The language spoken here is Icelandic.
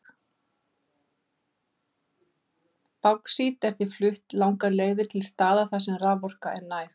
Báxít er því flutt langar leiðir til staða þar sem raforka er næg.